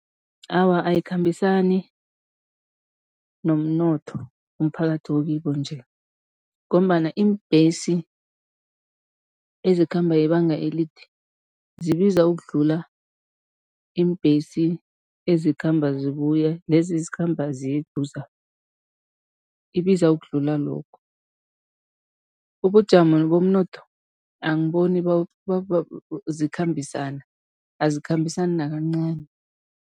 Awa, ayikhambisani nomnotho umphakathi okibo nje ngombana iimbhesi ezikhamba ibanga elide, zibiza ukudlula iimbhesi ezikhamba zibuye, lezi ezikhamba ziye eduza, ibiza ukudlula lokho. Ubujamo bomnotho angiboni zikhambisana, azikhambisana nakancani.